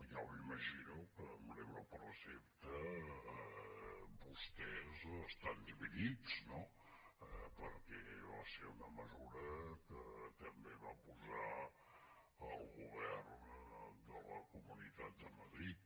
jo m’imagino que amb l’euro per recepta vostès estan dividits no perquè va ser una mesura que també va posar el govern de la comunitat de madrid